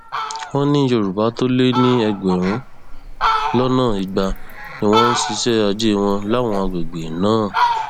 wọn ní yorùbá tó lé ní ẹgbẹrún lọnà igba ni wọn ń ṣiṣẹ ajé wọn láwọn àgbègbè náà